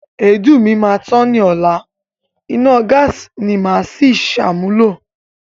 Èédú mi máa tán ni ọla, iná gáàsí ni màá si ṣàmúlò.